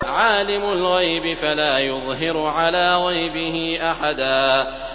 عَالِمُ الْغَيْبِ فَلَا يُظْهِرُ عَلَىٰ غَيْبِهِ أَحَدًا